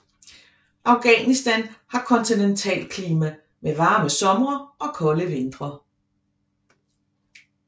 Afghanistan har kontinentalklima med varme somre og kolde vintre